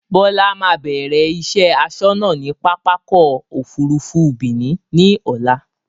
Bọlá máa bẹ̀rẹ̀ iṣẹ́ asọ́nà ni pápákọ̀ Òfurufú Benin ni ọ̀la